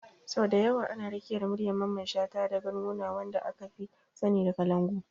Sau da yawa ana rakiyar muryar Mamman shata da ganguna, wanda aka fi sani da kalangu.